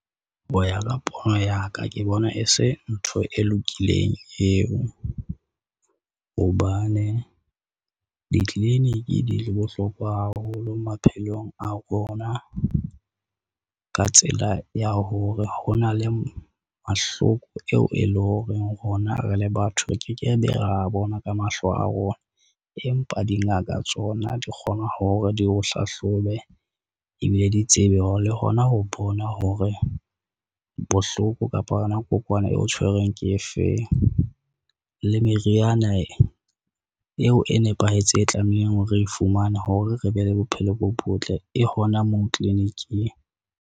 Ho ya ka pono ya ka, ke bona e se ntho e lokileng eo, hobane ditliliniki di le bohlokwa haholo maphelong a rona, ka tsela ya hore ho na le mahloko eo e leng horeng rona re le batho re ke ke be ra bona ka mahlo a rona. Empa dingaka tsona di kgona hore di o hlahlobe, ebile di tsebe hore le hona ho bona hore bohloko kapa yona kokwana eo tshwerweng ke efeng, le meriana eo e nepahetseng e tlamehang hore e fumane hore re be le bophelo bo botle e hona moo tliliniking.